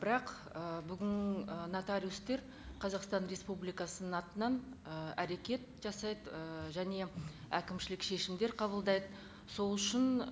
бірақ і бүгін і нотариустер қазақстан республикасының атынан ы әрекет жасайды ы және әкімшілік шешімдер қабылдайды сол үшін